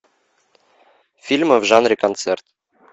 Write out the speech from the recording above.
фильмы в жанре концерт